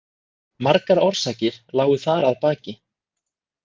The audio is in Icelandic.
Margar orsakir lágu þar að baki.